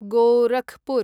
Gorakhpur